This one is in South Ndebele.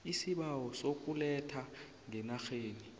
isibawo sokuletha ngeenarheni